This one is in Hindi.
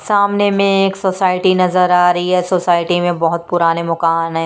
सामने में एक सोसाइटी नजर आ रही है सोसाइटी में बहोत पुराने मोकान हैं।